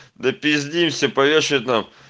допиздишься повешают нах